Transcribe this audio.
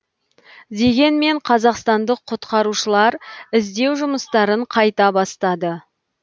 дегенмен қазақстандық құтқарушылар іздеу жұмыстарын қайта бастады